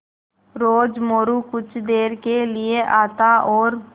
रोज़ मोरू कुछ देर के लिये आता और